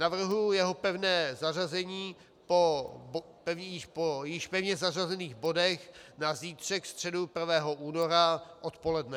Navrhuji jeho pevné zařazení po již pevně zařazených bodech na zítřek, středu 1. února odpoledne.